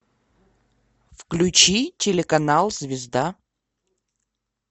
включи телеканал звезда